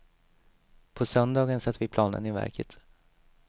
På söndagen satte vi planen i verket.